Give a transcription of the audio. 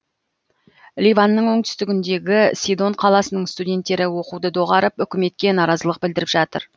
ливанның оңтүстігіндегі сидон қаласының студенттері оқуды доғарып үкіметке наразылық білдіріп жатыр